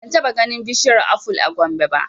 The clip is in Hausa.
Ban taɓa ganin bishiyar aful a Gombe ba